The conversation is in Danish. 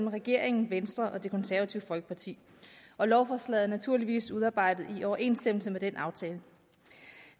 af regeringen venstre og det konservative folkeparti og lovforslaget er naturligvis udarbejdet i overensstemmelse med den aftale